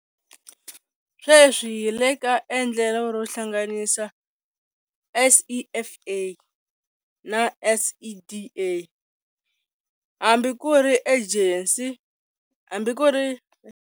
Sweswi hi le ka endlelo ro hlanganisa SEFA na SEDA hambi ku ri Ejensi.